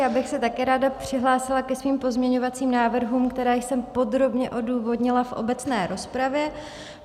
Já bych se také ráda přihlásila ke svým pozměňovacím návrhům, které jsem podrobně odůvodnila v obecné rozpravě.